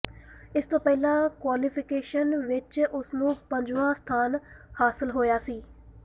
ਇਸ ਤੋਂ ਪਹਿਲਾਂ ਕੁਆਲੀਫਿਕੇਸ਼ਨ ਵਿੱਚ ਉਸ ਨੂੰ ਪੰਜਵਾਂ ਸਥਾਨ ਹਾਸਲ ਹੋਇਆ ਸੀ